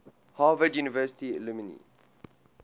harvard university alumni